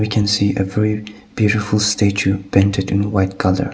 we can see a very beautiful statue painted in white colour.